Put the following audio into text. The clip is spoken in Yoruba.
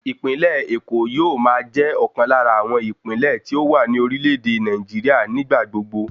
Ìpínlẹ̀ Èkó yóò máa jẹ́ ọ̀kan lára àwọn ìpínlẹ̀ tí ó wà ní orílẹ̀ èdè Nàìjíríà nígbà gbogbo